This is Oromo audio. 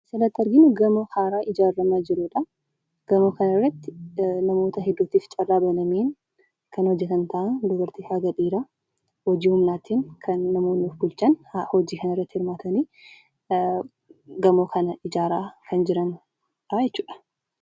Kan asirratti arginu gamoo haaraa ijaaramaa jirudha. Gamoo kanarratti namoota hedduutiif carraa banamee kan hojjatan ta'a dubaraa haga dhiiraa hojii humnaatiin namoonni of bulchan hojii kanarratti hirmaatanii gamoo kana ijaaraa kan jiranidha jechuudha.